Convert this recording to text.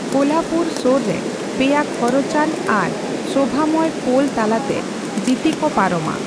ᱠᱳᱞᱦᱟᱯᱩᱨ ᱥᱳᱨᱨᱮ ᱯᱮᱭᱟ ᱠᱷᱚᱨᱚᱪᱟᱱ ᱟᱨ ᱥᱳᱵᱷᱟᱢᱚᱭ ᱯᱳᱞ ᱛᱟᱞᱟᱛᱮ ᱡᱤᱛᱤ ᱠᱚ ᱯᱟᱨᱚᱢᱟ ᱾